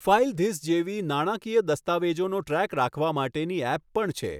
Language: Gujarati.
ફાઇલધિસ જેવી નાણાકીય દસ્તાવેજોનો ટ્રૅક રાખવા માટેની ઍપ પણ છે.